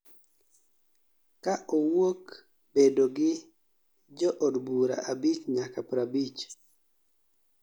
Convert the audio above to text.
ka owuok bedo gi jo odbura abich nyaka 50